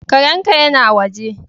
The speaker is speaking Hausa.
Karen ka ya na waje.